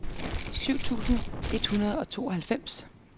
syv tusind et hundrede og tooghalvfems